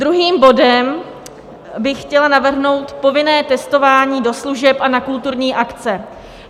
Druhým bodem bych chtěla navrhnout povinné testování do služeb a na kulturní akce.